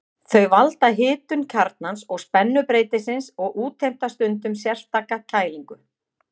Þau valda hitun kjarnans og spennubreytisins og útheimta stundum sérstaka kælingu.